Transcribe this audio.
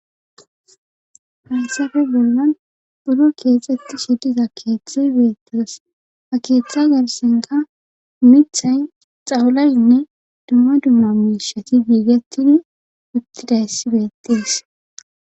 Hyassafe bollan buro keexetti shediza keeththay beettas ha keeththa garsenka mithay xawualaynne dumma dumma miishati biigettini uttidayssi beettes